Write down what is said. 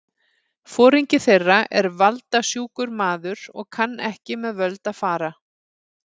Foringi þeirra er valda- sjúkur maður og kann ekki með völd að fara.